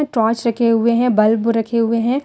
Torch रखे हुए हैं बल्ब रखे हुए हैं।